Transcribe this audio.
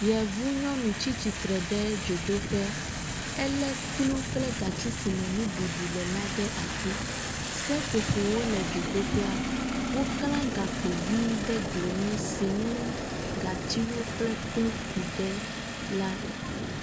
Yevunyɔnu tsi tsitre ɖe dzodoƒe elé kplu kple gatsi si me nuɖuɖu le la ɖe asi. Seƒoƒowo le dzodoƒea, woklã gakpo vi ɖe gli ŋu si ŋu gatsiwo kple kplu ku ɖe la.